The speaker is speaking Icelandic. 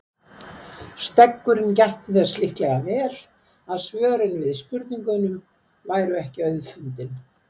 Steggurinn gætti þess líklega vel að svörin við spurningunum væru ekki auðfundin.